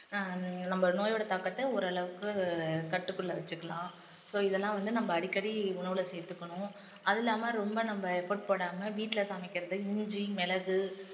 ஹம் நம்ம நோயோட தாக்கத்தை ஓரளவுக்கு கட்டுக்குள்ள வச்சுக்கலாம் so இதெல்லாம் வந்து நம்ம அடிக்கடி உணவுல சேர்த்துக்கணும் அதுவும் இல்லாம ரொம்ப நம்ம effort போடாம வீட்டுல சமைக்கிறதை இஞ்சி, மிளகு